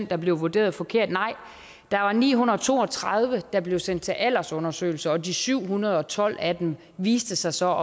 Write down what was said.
der blev vurderet forkert nej der var ni hundrede og to og tredive der blev sendt til aldersundersøgelse og de syv hundrede og tolv af dem viste sig så